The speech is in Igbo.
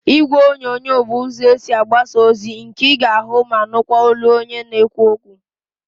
Ígwèonyonyo bụ ụzọ esi agbasa ozi nke ị ga-ahụ ma nụkwa olu onye na-ekwu okwu.